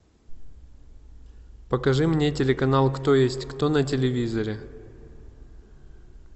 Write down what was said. покажи мне телеканал кто есть кто на телевизоре